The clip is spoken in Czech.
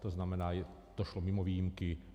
To znamená, to šlo mimo výjimky.